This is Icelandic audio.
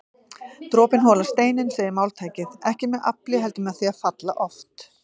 Dropinn holar steininn segir máltækið, ekki með afli heldur með því að falla oft